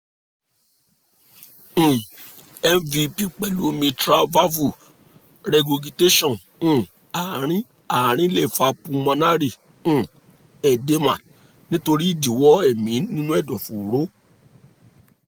um mvp pẹ̀lú mitral valve regurgitation um àárín-àárín lè fa pulmonary um edema nítorí ìdíwọ́ ẹ̀mí nínú ẹ̀dọ̀fóró